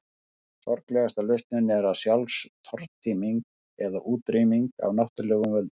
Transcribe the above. Sorglegasta lausnin er sjálfstortíming eða útrýming af náttúrulegum völdum.